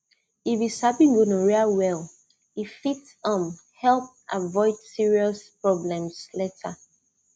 if you sabi gonorrhea well e fit um help avoid serious problems later